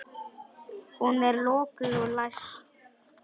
Hún er lokuð og læst.